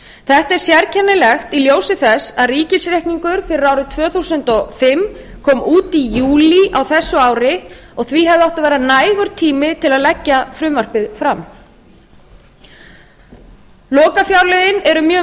þetta er sérkennilegt í ljósi þess að ríkisreikningur fyrir árið tvö þúsund og fimm kom út í júlí á þessu ári og því hefði átt að vera nægur tími til að leggja frumvarpið fram lokafjárlögin eru mjög